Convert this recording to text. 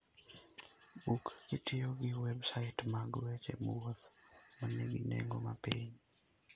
Buk kitiyo gi websait mag weche wuoth ma nigi nengo mapiny.